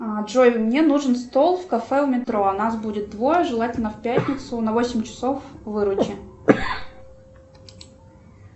джой мне нужен стол в кафе у метро нас будет двое желательно в пятницу на восемь часов выручи